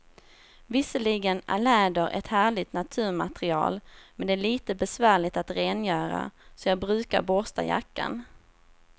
Visserligen är läder ett härligt naturmaterial, men det är lite besvärligt att rengöra, så jag brukar borsta jackan.